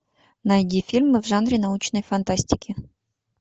найди фильмы в жанре научной фантастики